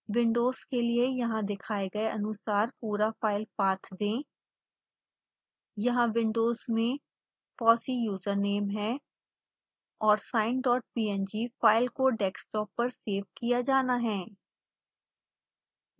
Windows के लिए यहाँ दिखाए गए अनुसार पूरा फाइल पाथ दें यहाँ विंडोज में fossee यूजरनेम है और sinepng फाइल को डेस्कटॉप पर सेव किया जाना है